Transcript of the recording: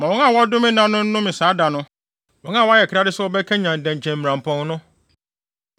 Ma wɔn a wɔdome nna no nnome saa da no; wɔn a wɔayɛ krado sɛ wɔbɛkanyan dɛnkyɛmmirampɔn no.